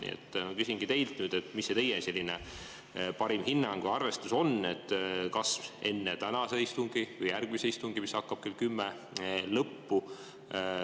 Nii et küsingi teilt, mis see teie parim hinnang või arvestus on, kas enne tänase istungi lõppu või järgmise istungi, mis hakkab kell kümme, lõppu.